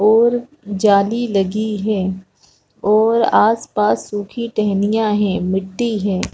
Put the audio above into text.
और जाली लगी है और आस-पास सुखी टहनियाँ है मिट्टी है।